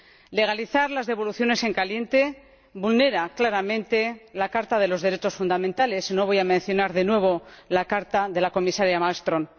Legalizar las devoluciones en caliente vulnera claramente la Carta de los Derechos Fundamentales —y no voy a mencionar de nuevo la carta de la Comisaria Malmström—.